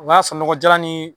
O y'a sɔrɔ nɔgɔ jalan ni